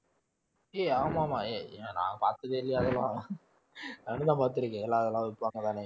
ஏய் ஆமாம்மா ஏய் இத நான் பார்த்ததே இல்லையா அதெல்லாம் நானும்தான் பார்த்திருக்கேன் எல்லாம் அதெல்லாம் விப்பாங்கதானே